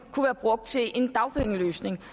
kunne være brugt til en dagpengeløsning